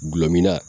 Gulɔmin na